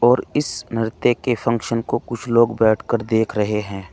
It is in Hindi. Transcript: और इस नृत्य के फंक्शन को कुछ लोग बैठ कर देख रहे हैं।